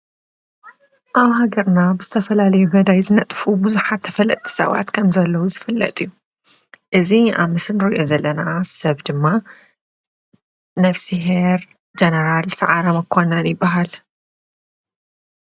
ኣብ ሃገርና ብዝተፈላለዮ መደይ ዝነጥፉ ብዙሓት ተፈለጥቲ ሰባት ከም ዘለዉ ዝፍለጥ እዩ። እዚ ኣብ ምስሊ ንርኦ ዘለና ሰብ ድማ ነፍስሔር ጀነራል ሰዓረምኣኳናን ይበሃል።